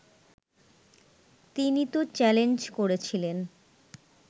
তিনি তো চ্যালেঞ্জ করেছিলেন